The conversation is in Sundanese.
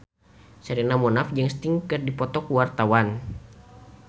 Sherina Munaf jeung Sting keur dipoto ku wartawan